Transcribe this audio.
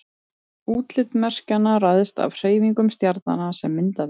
útlit merkjanna ræðst af hreyfingum stjarnanna sem mynda þau